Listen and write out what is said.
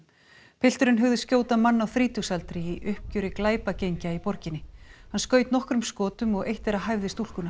pilturinn hugðist skjóta mann á þrítugsaldri í uppgjöri glæpagengja í borginni hann skaut nokkrum skotum og eitt þeirra hæfði stúlkuna